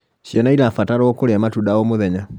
Ciana cirabatarwo kurĩa matunda o mũthenya